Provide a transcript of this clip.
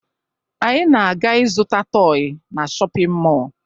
Anyị na-aga ịzụta tọọyị na shọpịn mọọ